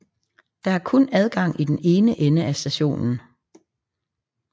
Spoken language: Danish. Der er kun adgang i den ene ende af stationen